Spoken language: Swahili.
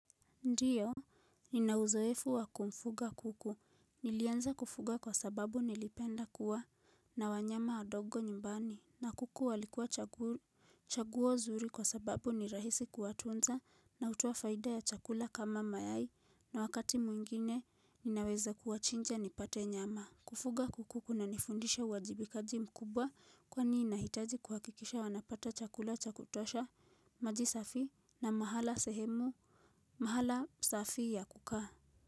Ndiyo, nina uzoefu wa kumfuga kuku, nilianza kufuga kwa sababu nilipenda kuwa na wanyama wadogo nyumbani na kuku walikuwa chaguo zuri kwa sababu ni rahisi kuwatunza na utoa faida ya chakula kama mayai na wakati mwingine ninaweza kuwachinja nipate nyama Kufuga kuku kunanifundisha uwajibikaji mkubwa kwani inahitaji kuhakikisha wanapata chakula chakutosha, maji safi na mahala sehemu mahala safi ya kukaa.